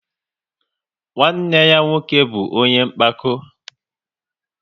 Nwanne ya nwoke bụ ọnye mpako